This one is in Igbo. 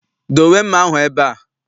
Dowe mma ahụ ebe a!